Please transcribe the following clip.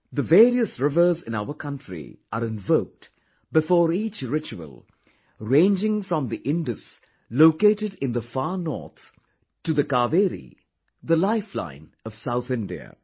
The various rivers in our country are invoked before each ritual, ranging from the Indus located in the far north to the Kaveri, the lifeline of South India